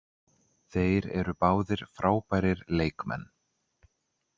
Þeir eru báðir frábærir leikmenn.